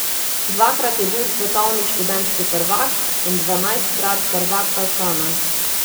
Dvakrat je bil svetovni študentski prvak in dvanajstkrat prvak Balkana.